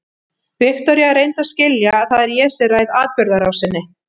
Viktoría, reyndu að skilja að það er ég sem ræð atburðarásinni.